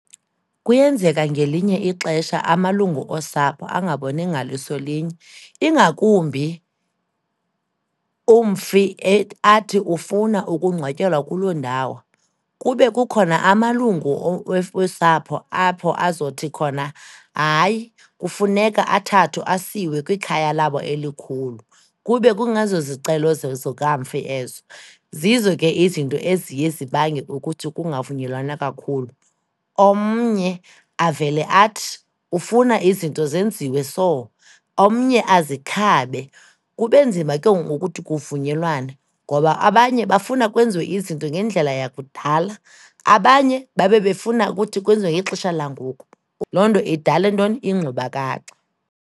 Kuyenzeka ngelinye ixesha amalungu osapho angaboni ngaliso linye, ingakumbi umfi athi ufuna ukungcwatyelwa kuloo ndawo kube kukhona amalungu wesapho apho azothi khona hayi, kufuneka athathwe asiwe kwikhaya labo elikhulu, kube kungezozicelo zikamfi ezo. Zizo ke izinto eziye zibange ukuthi kungavunyelwana kakhulu. Omnye avele athi ufuna izinto zenziwe so, omnye azikhabe. Kube nzima ke ngoku ukuthi kuvunyelwane, ngoba abanye bafuna kwenziwe izinto ngendlela yakudala, abanye babe befuna ukuthi kwenziwe ngexesha langoku, loo nto idale ntoni? Ingxubakaxa.